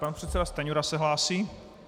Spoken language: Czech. Pan předseda Stanjura se hlásí.